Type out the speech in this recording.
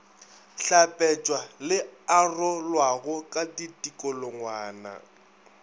hlapetšwa le arolwago ka ditikologwana